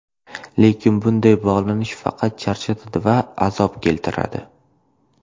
Lekin bunday bog‘lanish faqat charchatadi va azob keltiradi.